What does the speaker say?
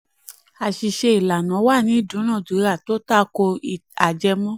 9. àṣìṣe ìlànà wà nínú ìdúnnàdúnrà tó tako ajẹmọ́.